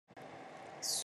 Suki yakokanga ya moindo